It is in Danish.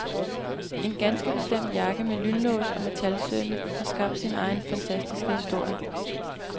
En ganske bestemt jakke med lynlås og metalsømme har skabt sin egen fantastiske historie.